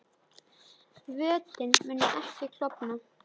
Vötnin munu ekki klofna